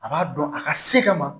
A b'a dɔn a ka se ka ma